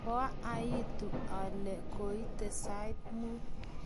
koaitu olie koite sait mut